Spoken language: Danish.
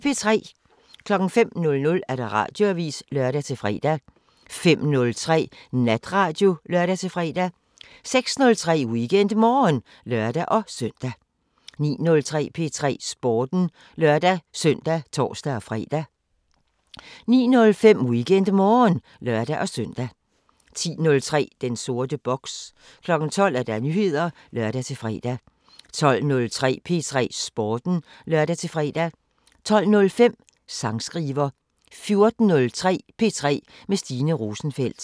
05:00: Radioavisen (lør-fre) 05:03: Natradio (lør-fre) 06:03: WeekendMorgen (lør-søn) 09:03: P3 Sporten (lør-søn og tor-fre) 09:05: WeekendMorgen (lør-søn) 10:03: Den sorte boks 12:00: Nyheder (lør-fre) 12:03: P3 Sporten (lør-fre) 12:05: Sangskriver 14:03: P3 med Stine Rosenfeldt